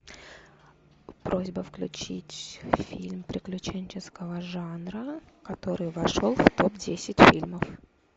просьба включить фильм приключенческого жанра который вошел в топ десять фильмов